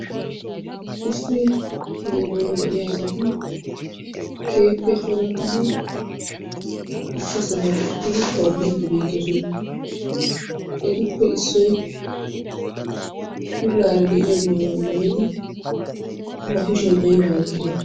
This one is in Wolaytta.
Issi heeran de"iyaa asati keehippe corattidi issi sohuwan uttidi tobbiiddi beettoosona. Etuppe issoy puulaara de"iyaa maayuwa maayidi ba kushiyan aybaa oyqqidee?